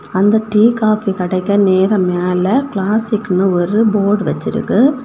அந்த tea coffee கடைக்கு நேரா மேல கிளாசிக்னு ஒரு போர்டு வச்சிருக்கு.